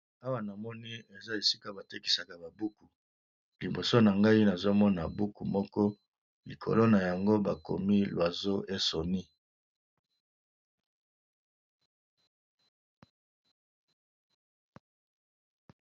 Awa namoni eza esika batekisa ba buku , liboso nangai nazomona buku moko likolo nayango bakomi l'oiseau et son nid.